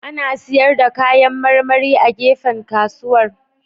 Ana sayar da kayan marmari a gefen kasuwar